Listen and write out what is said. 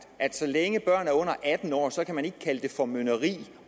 så længe børnene er under atten år kan man ikke kalde det formynderisk